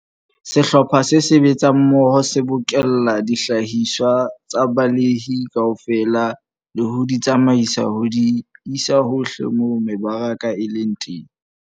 Sehlopha se sebetsang mmoho se bokella dihlahiswa tsa balemi kaofela le ho di tsamaisa ho di isa hohle moo mebaraka e leng teng.